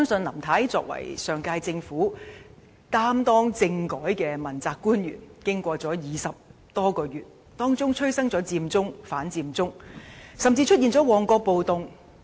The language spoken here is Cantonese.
林太在上屆政府是負責政改的問責官員，經歷20多個月，其間催生了佔中和反佔中，甚至出現了旺角暴動。